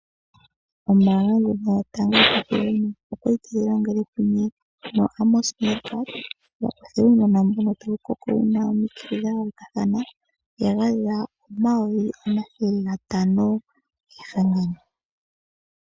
Ombaanga ndjoka yotango yopashigwana oya li tayi longele kumwe noAmos Meerkat ya kwathele uunona mboka tawu koko wu na omitse dha londathana noya gandja N$ 500 000 kehangano.